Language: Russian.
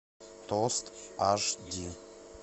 тост аш ди